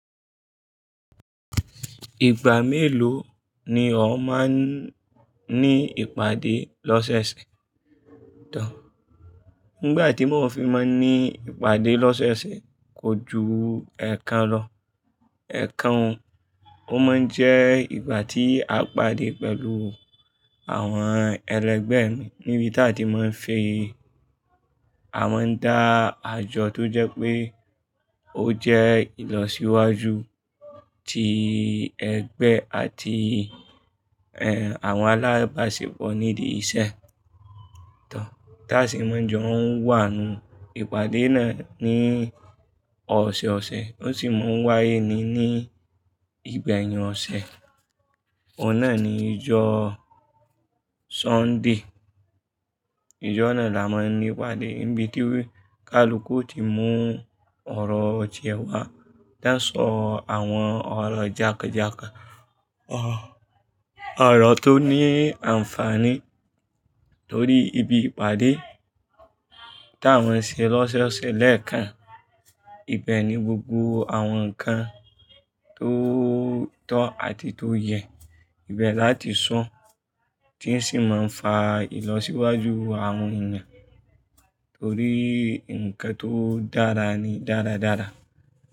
Ìgbà mélòó ni ọ máa ń ní ìpàdé lọ́sẹ̀ṣẹ̀? Dá, nígbà tí mo fi máa ń ní ìpàdé lọ́sẹ̀ṣẹ̀ kò ju ẹ̀ẹ̀kan lọ. Ẹ̀ẹ̀kan, ó máa ń jẹ́ ìgbà tí a pàdé pẹ̀lú àwọn ẹlẹgbẹ́ mi níbi tí a ti máa ń fi, a máa ń dá àjọ tó jẹ́ pé ó jẹ́ ìlọsíwájú tí ẹgbẹ́ àti, ẹ, àwọn alábàáṣepọ̀ nídi iṣẹ́. Dá, tá a sì máa ń jọ ń wà nù. Ìpàdé náà ní ọ̀sọ̀ọ̀sẹ̀, ó sì máa ń wáyé ní, ní ìgbẹ̀yìn ọ̀sẹ̀. Ọ̀un nà ni ìjọ Sọ́ńdè. Ìjọ náà la máa ń ní ìpàdé níbi tí kalukú yi o ti mú ọ̀rọ̀ tìẹ́ wá. Tá sọ àwọn ọ̀rọ̀ jánkanjánkan, ọ̀rọ̀ tó ní àǹfààní torí ibi ìpàdé tá a máa ń ṣe lọ́sẹ̀ṣẹ̀ lẹ́ẹ̀kan. Ibẹ̀ ni gbogbo àwọn nǹkan tó tọ́ àti tó yẹ ibẹ̀ láti sọ́, tín sì máa ń fa ìlọsíwájú àwọn èèyàn torí nǹkan tó dára ni dáradára.